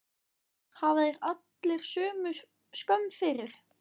Hafi þeir allir skömm fyrir!